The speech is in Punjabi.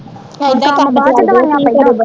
ਇਹਦਾ ਈ ਕੰਮ ਚਲਦੇ ਕੀ ਕਰੇ ਬੰਦਾ